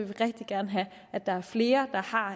vi rigtig gerne have at der er flere der har